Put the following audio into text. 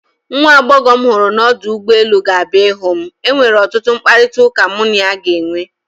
nwa agbọghọ m hụrụ m ọdụ ụgbọ elu, ga-abịa ịhụ m enwere ọtụtụ mkparịta ụka mụ na ya ga-enwe